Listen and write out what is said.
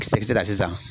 Kisɛ sara sisan